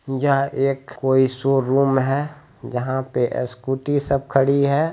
यह कोई एक शोरूम है जहां पे स्कूटी सब खड़ी है।